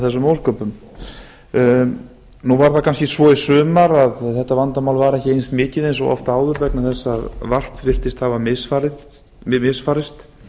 þessum ósköpum í sumar var þetta vandamál kannski ekki eins mikið og oft áður vegna þess að varp virðist hafa misfarist